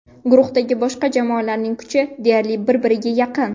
Guruhdagi boshqa jamoalarning kuchi deyarli bir-birga yaqin.